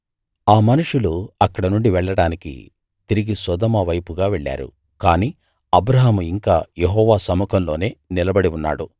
ఆ మనుషులు అక్కడనుండి వెళ్ళడానికి తిరిగి సొదొమ వైపుగా వెళ్ళారు కానీ అబ్రాహాము ఇంకా యెహోవా సముఖంలోనే నిలబడి ఉన్నాడు